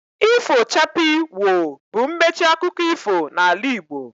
Ifo chapii, woo! bụ mmechi akụkọ ifo n'ala Igbo